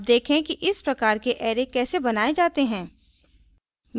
अब देखें कि इस प्रकार के array कैसे बनाये जाते हैं